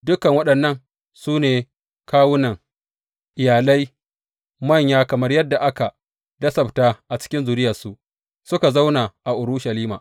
Dukan waɗannan su ne kawunan iyalai, manya kamar yadda aka lissafta a cikin zuriyarsu, suka zauna a Urushalima.